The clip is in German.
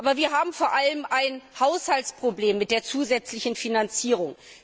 Aber wir haben vor allem ein Haushaltsproblem mit der zusätzlichen Finanzierung.